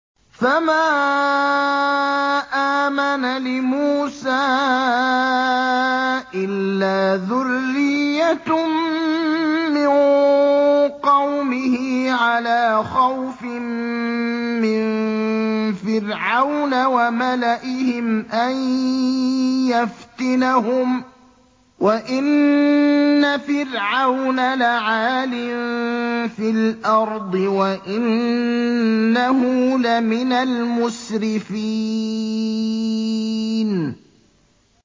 فَمَا آمَنَ لِمُوسَىٰ إِلَّا ذُرِّيَّةٌ مِّن قَوْمِهِ عَلَىٰ خَوْفٍ مِّن فِرْعَوْنَ وَمَلَئِهِمْ أَن يَفْتِنَهُمْ ۚ وَإِنَّ فِرْعَوْنَ لَعَالٍ فِي الْأَرْضِ وَإِنَّهُ لَمِنَ الْمُسْرِفِينَ